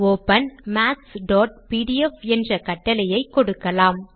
open mathsபிடிஎஃப் என்ற கட்டளையை கொடுக்கலாம்